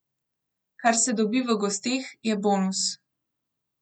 Kar se dobi v gosteh, je bonus.